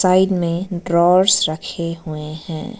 Side में drawers रखे हुए हैं।